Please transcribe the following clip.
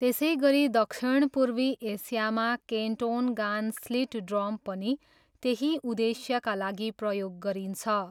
त्यसैगरी दक्षिणपूर्वी एसियामा केन्टोनगान स्लिट ड्रम पनि त्यही उद्देश्यका लागि प्रयोग गरिन्छ।